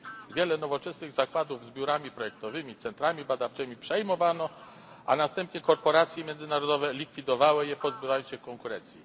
Wiele nowoczesnych zakładów z biurami projektowymi, centrami badawczymi przejmowano, a następnie korporacje międzynarodowe likwidowały je, pozbywając się konkurencji.